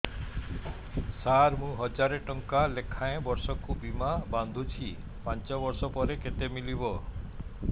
ସାର ମୁଁ ହଜାରେ ଟଂକା ଲେଖାଏଁ ବର୍ଷକୁ ବୀମା ବାଂଧୁଛି ପାଞ୍ଚ ବର୍ଷ ପରେ କେତେ ମିଳିବ